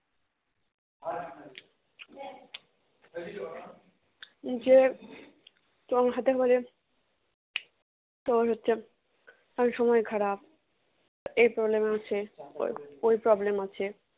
যে তোর হাতের মাঝে তোর হচ্ছে অনেক সময় খারাপ এই problem হচ্ছে ওই ওই problem হচ্ছে